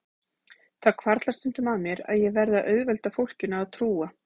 Það hvarflar stundum að mér að ég verði að auðvelda fólkinu að trúa